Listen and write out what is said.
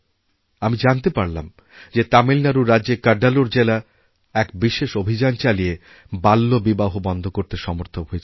আমি জানতে পারলাম যে তামিলনাড়ু রাজ্যের কাড্ডালোর জেলা এক বিশেষঅভিযান চালিয়ে বাল্যবিবাহ বন্ধ করতে সমর্থ হয়েছে